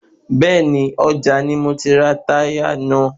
Bẹ́ẹ̀ni, ọjà ni mo ti rà táyà náà